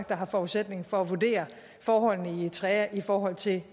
der har forudsætning for at vurdere forholdene i eritrea i forhold til